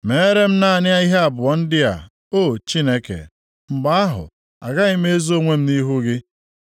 “Meere m naanị ihe abụọ ndị a, O Chineke, mgbe ahụ agaghị m ezo onwe m nʼihu gị.